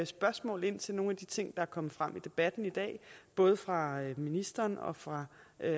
spørgsmål til nogle af de ting der er kommet frem i debatten i dag både fra ministeren og fra